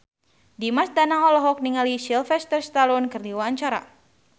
Dimas Danang olohok ningali Sylvester Stallone keur diwawancara